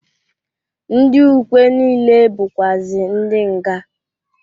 Ndị ukwe niile bụkwazị ndị nga.